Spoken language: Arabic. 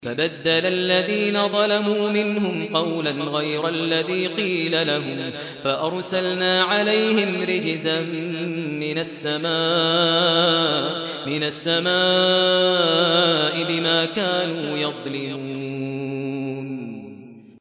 فَبَدَّلَ الَّذِينَ ظَلَمُوا مِنْهُمْ قَوْلًا غَيْرَ الَّذِي قِيلَ لَهُمْ فَأَرْسَلْنَا عَلَيْهِمْ رِجْزًا مِّنَ السَّمَاءِ بِمَا كَانُوا يَظْلِمُونَ